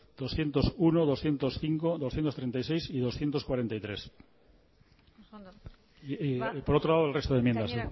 doscientos uno doscientos cinco doscientos treinta y seis y doscientos cuarenta y tres oso ondo por otro lado el resto de enmiendas